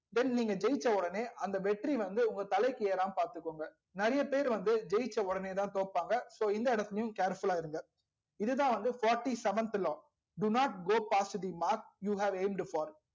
then நீங்க ஜெயிச்ச உடனே அந்த வெற்றி வந்து உங்க தலைக்கு வந்து ஏராம பாத்துகோங்க நெறைய பேர் வந்து ஜெயிச்ச வுடனே தா தோபாங்க so இந்த எடத்துலையும் careful ல இருங்க